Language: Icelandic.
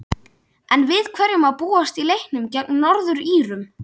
En við hverju má búast í leiknum gegn Norður-Írum?